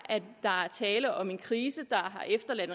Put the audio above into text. tale om en krise der har efterladt